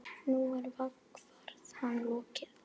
Nú er vegferð hans lokið.